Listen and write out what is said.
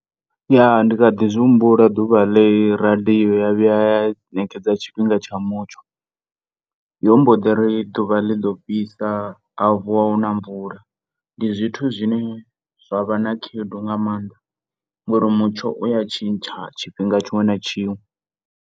Ya, ndikhaḓi zwi humbula ḓuvha ḽe radio ya vhuya ya ṋekedza tshifhinga tsha mutsho yo mboḓiri ḓuvha ḽiḓo fhisa ha vuwa huna mvula, ndi zwithu zwine zwa vha na khaedu nga maanḓa ngori mutsho uya tshintsha tshifhinga tshiṅwe na tshiṅwe.